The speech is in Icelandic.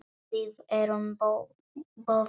Við erum boðin.